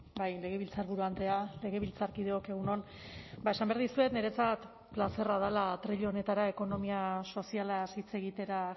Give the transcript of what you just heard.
bai legebiltzarburu andrea legebiltzarkideok egun on ba esan behar dizuet niretzat plazerra dela atril honetara ekonomia sozialaz hitz egitera